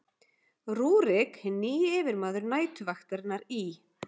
rúrík hinn nýji yfirmaður næturvaktarinnar í